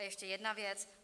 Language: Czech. A ještě jedna věc.